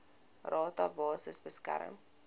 rata basis bereken